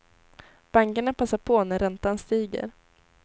Bankerna passar på när räntan stiger.